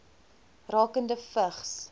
rakende vigs